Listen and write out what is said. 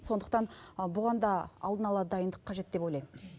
сондықтан бұған да алдын ала дайындық қажет деп ойлаймын